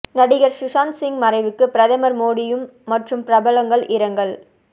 நடிகர் சுஷாந்த் சிங் மறைவுக்கு பிரதமர் மோடிம் மற்றும் பிரபலங்கள் இரங்கல்